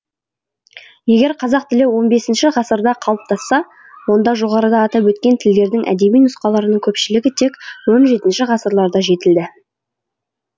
егер қазақ тілі он бесінші ғасырда қалыптасса онда жоғарыда атап өткен тілдердің әдеби нұсқаларының көпшілігі тек он жетінші ғасырларда жетілді